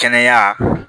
Kɛnɛya